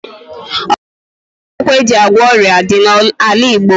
Ọtụtụ mkpakwụkwọ e ji agwọ ọrịa dị n'ala Igbo.